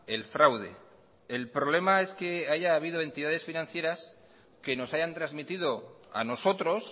el fraude el problema es que haya habido entidades financieras que nos hayan transmitido a nosotros